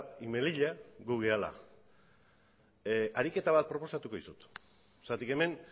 y melilla gu garela ariketa bat proposatuko dizut zergatik hemen